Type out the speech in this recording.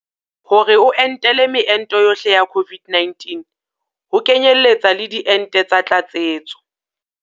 Hore o entela meento yohle ya COVID-19 ho kenyeletsa le diente tsa tlatsetso.